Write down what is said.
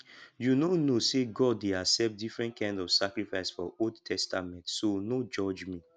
you no know say god dey accept different kind of sacrifice for old testament so no judge me